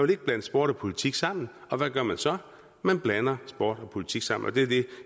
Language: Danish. vil blande sport og politik sammen og hvad gør man så man blander sport og politik sammen og det er det